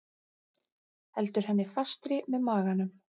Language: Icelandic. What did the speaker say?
Heldur henni fastri með maganum.